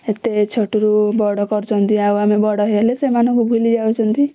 ଏତେ ଛୋଟ ରୁ ବଡ କରୁଛନ୍ତି ଆଉ ଆମେ ବଡ ହେଲେ ସେମାନଙ୍କୁ ଭୁଲି ଯାଉଛନ୍ତି